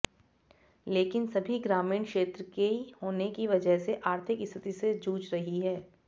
लेकिन सभी ग्रामीण क्षेत्र की होने की वजह से आर्थिक स्थिति से जूझ रही हैं